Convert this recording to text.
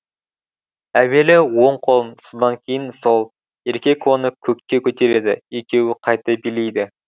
әуелі оң қолын содан кейін сол еркек оны көкке көтереді екеуі қайта билейді